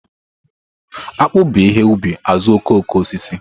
Akpu bu ihe ubi azuokokoosisi.